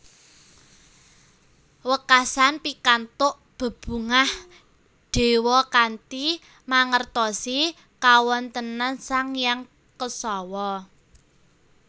Wekasan pikantuk bebungah dewa kanthi mangertosi kawontenan Sang Hyang Kesawa